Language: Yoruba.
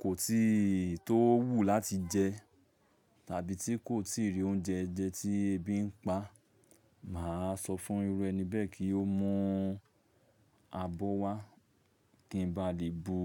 kò tí tó wù láti jẹ tàbí tí kò tíì rí oúnjẹ jẹ tí ebi ń pa, mà á sọ fún irú ẹni bẹ́ẹ̀ kí ó mú abọ́ wá kí n ba lè bu